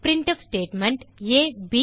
printf statement